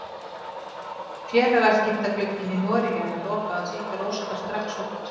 Félagaskiptaglugginn í Noregi er að loka og því fer Óskar strax út.